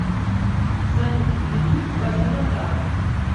салют ютуб божена дар